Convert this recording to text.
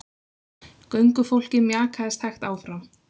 Göngufólkið mjakaðist hægt áfram.